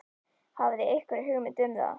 Hafið þið einhverja hugmynd um það?